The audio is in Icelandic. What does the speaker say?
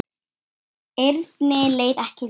Erni leið ekki vel.